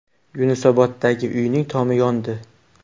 Yunusoboddagi uyning tomi yondi .